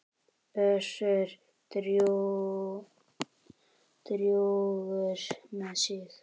Össur drjúgur með sig.